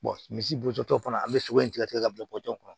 misi bo tɔ fana an be sogo in tigɛ tigɛ ka bila pɔnsɔn kɔnɔ